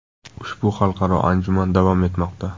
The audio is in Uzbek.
Ushbu xalqaro anjuman davom etmoqda.